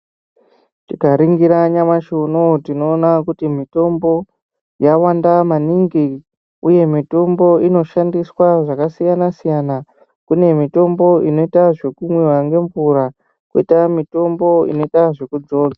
Tikaringira nyamashi unowu tinoona kuti mitombo yawanda maningi uye mitombo inoshandiswa zvakasiyana -siyana. Kune mitombo inoitwa zvekumwiwa ngemvura kwoita mitombo inoita zvekudzodzwa.